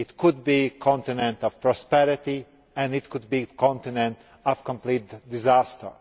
It could be a continent of prosperity and it could be a continent of complete disaster.